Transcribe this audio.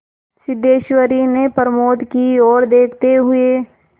सिद्धेश्वरी ने प्रमोद की ओर देखते हुए